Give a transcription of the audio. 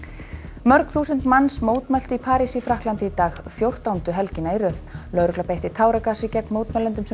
mörg þúsund manns mótmæltu í París í Frakklandi í dag fjórtándu helgina í röð lögregla beitti táragasi gegn mótmælendum sem